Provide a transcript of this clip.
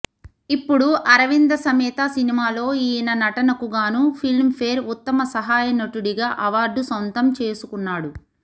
ఇప్పుడు అరవింద సమేత సినిమాలో ఈయన నటనకు గానూ ఫిల్మ్ ఫేర్ ఉత్తమ సహాయ నటుడిగా అవార్డు సొంతం చేసుకున్నాడు